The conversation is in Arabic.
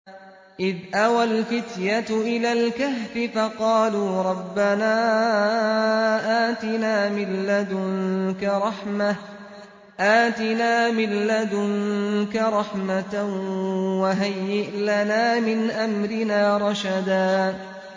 إِذْ أَوَى الْفِتْيَةُ إِلَى الْكَهْفِ فَقَالُوا رَبَّنَا آتِنَا مِن لَّدُنكَ رَحْمَةً وَهَيِّئْ لَنَا مِنْ أَمْرِنَا رَشَدًا